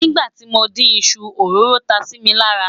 nígbà tí mọ dín iṣu, òróró tá Si mí lára